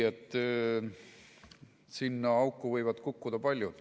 Sinna auku võivad kukkuda paljud.